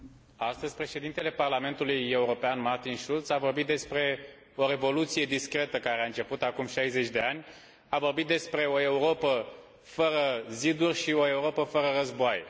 Astăzi, Președintele Parlamentului European, Martin Schulz, a vorbit despre o revoluție discretă care a început acum 60 de ani, a vorbit despre o Europă fără ziduri și o Europă fără războaie.